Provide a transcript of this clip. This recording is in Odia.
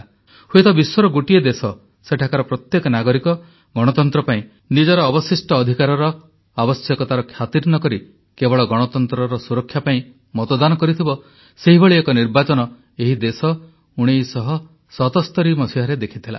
ହୁଏତ ବିଶ୍ୱର ଗୋଟିଏ ଦେଶ ସେଠାକାର ପ୍ରତ୍ୟେକ ନାଗରିକ ଗଣତନ୍ତ୍ର ପାଇଁ ନିଜର ଅବଶିଷ୍ଟ ଅଧିକାରର ଆବଶ୍ୟକତାକୁ ଖାତିର୍ ନ କରି କେବଳ ଗଣତନ୍ତ୍ରର ସୁରକ୍ଷା ପାଇଁ ମତଦାନ କରିଥିବ ସେହିଭଳି ଏକ ନିର୍ବାଚନ ଏହି ଦେଶ 1977ରେ ଦେଖିଥିଲା